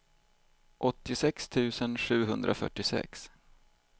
åttiosex tusen sjuhundrafyrtiosex